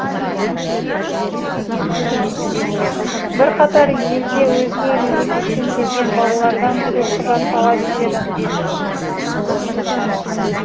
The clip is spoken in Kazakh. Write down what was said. бірқатар елде өзге мемлекеттен келген балалардан төлқұжат талап етеді